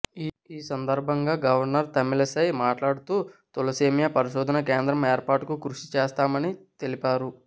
ఈ సందర్భంగా గవర్నర్ తమిళసై మాట్లాడుతూ తలసేమియా పరిశోధన కేంద్రం ఏర్పాటుకు కృషి చేస్తామని తెలిపారు